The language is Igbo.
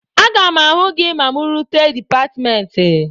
Aga m ahụ gị ma mụ rute dịpatmentị